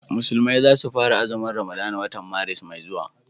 musulmai za su fara azumin ramadana watan Maris mai zuwa